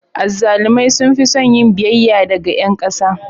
Azzalumai sun fi son yin biyayya daga ƴan ƙasa.